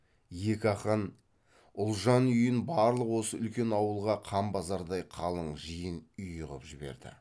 екі ақын ұлжан үйін барлық осы үлкен ауылға қан базардай қалың жиын үйі қып жіберді